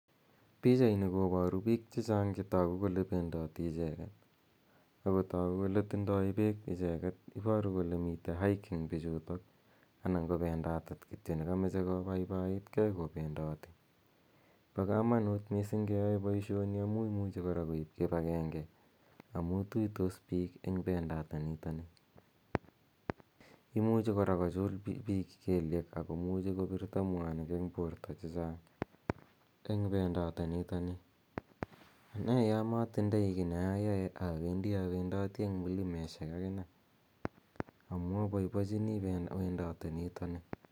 Pichaini koparu piik che chang' che tagu kole pendati icheget ako tagu kole tindai peek pichutok. Iparu kole mitei hiking icheget ana ko pendatet kityo ne kamache kopaipaiit gei kopendati. Pa kamanuut missing' ke yae poishoni amu imuchi kora koip kipagenge amu tuitos piik eng' pendatenitani. Imuchi kora kochul piik keliek ako muchi kopirto piik mwaita eng' porto che chang' eng' pendatenitoni. Ane ya matindai ki ne ayae , awendi, awendati eng' milimeshek akine amu apaipachini wendatenitani.